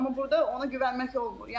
Amma burda ona güvənmək olmur.